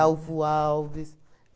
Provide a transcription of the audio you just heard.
Alves.